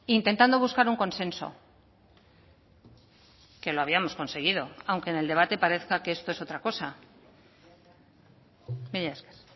intentando buscar un consenso que lo habíamos conseguido aunque en el debate parezca que esto es otra cosa mila esker